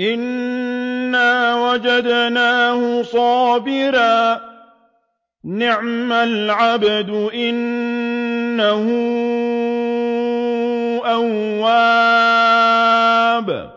إِنَّا وَجَدْنَاهُ صَابِرًا ۚ نِّعْمَ الْعَبْدُ ۖ إِنَّهُ أَوَّابٌ